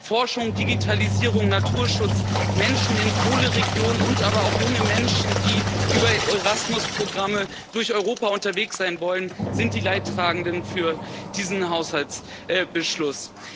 Forschung, Digitalisierung, Naturschutz, Menschen in Kohleregionen, aber auch junge Menschen, die über Erasmus Programme durch Europa unterwegs sein wollen, sind die Leidtragenden für diesen Haushaltsbeschluss.